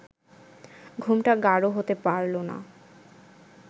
ঘুমটা গাঢ় হতে পারল না